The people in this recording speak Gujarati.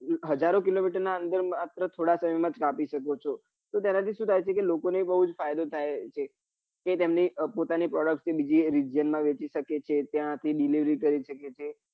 હજારો કિલોમીટર નાં અંદર માત્ર થોડા સમય માત્ર શકો છો તો તેના થી શું થાય છે કે લોકો ને બઉ જ ફાયદો થાય છે કે તેમને પોતાની product બીજે વેચી સાકે છે ત્યાં થી delevory કરી સકે છે.